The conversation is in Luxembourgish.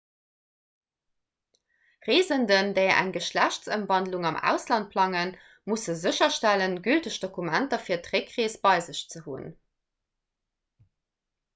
reesenden déi eng geschlechtsëmwandlung am ausland plangen musse sécherstellen gülteg dokumenter fir d'réckrees bei sech hunn